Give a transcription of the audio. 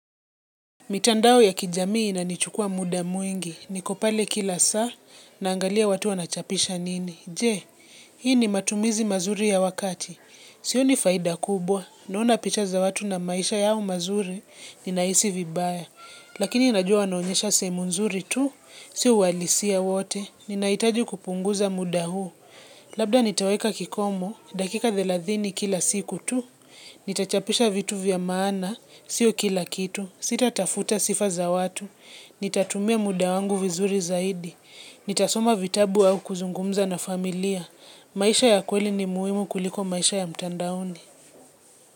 Mitandao ya kijamii nanichukua muda mwingi, niko pale kila saa, naangalia watu wanachapisha nini. Je, hii ni matumizi mazuri ya wakati. Sio ni faida kubwa, nauna pichaza watu na maisha yao mazuri, ninaisi vibaya. Lakini najua anonyesha semu nzuri tu, sio walisia wote, ninaitaji kupunguza muda huu. Labda nitaweka kikomo, dakika thelathini kila siku tu, Nitachapisha vitu vya maana, sio kila kitu, sita tafuta sifa za watu. Nitatumia muda wangu vizuri zaidi. Nitasoma vitabu au kuzungumza na familia. Maisha ya kweli ni muimu kuliko maisha ya mtanda hundi.